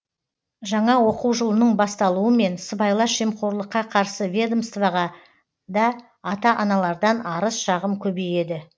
жаңа оқу жылының басталуымен сыбайлас жемқорлыққа қарсы ведомстваға да ата аналардан арыз шағым көбейеді